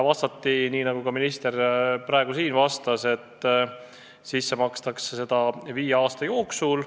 Vastati nii, nagu ka minister praegu siin vastas, et sisse makstakse seda viie aasta jooksul.